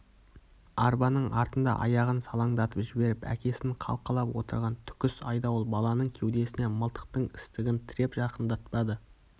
арбаның артында аяғын салаңдатып жіберіп әкесін қалқалап отырған түкіс айдауыл баланың кеудесіне мылтықтың істігін тіреп жақындатпады